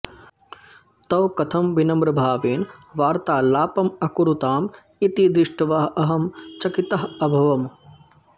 तौ कथं विनम्रभावेन वार्तालापम् अकुरुताम् इति दृष्ट्वा अहं चकितः अभवम्